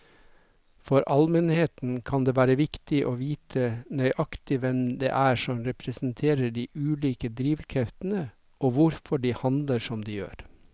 For allmennheten kan det være viktig å vite nøyaktig hvem det er som representerer de ulike drivkreftene og hvorfor de handler som de gjør.